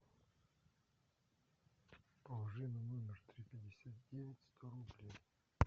положи на номер три пятьдесят девять сто рублей